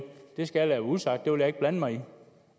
skal jeg usagt det vil jeg ikke blande mig i